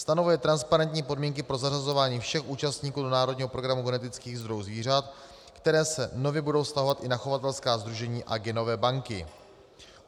Stanovuje transparentní podmínky pro zařazování všech účastníků do národního programu genetických zdrojů zvířat, které se nově budou vztahovat i na chovatelská sdružení a genové banky.